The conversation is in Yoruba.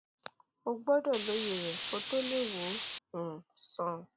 o gbọdọ lóye rẹ kó o tó lè wò ó um sàn